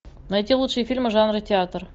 найти лучшие фильмы жанра театр